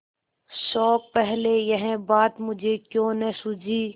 शोक पहले यह बात मुझे क्यों न सूझी